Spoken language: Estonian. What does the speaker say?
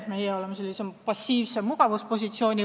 Meie oleme sisse võtnud passiivse mugavuspositsiooni.